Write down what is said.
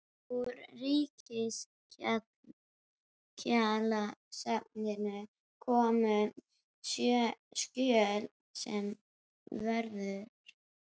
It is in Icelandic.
Úr Ríkisskjalasafninu komu skjöl sem vörðuðu